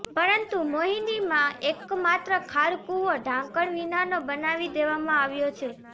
પરંતુ મોહિનીમાં એકમાત્ર ખાળકૂવો ઢાંકણ વિનાનો બનાવી દેવામાં આવ્યો છે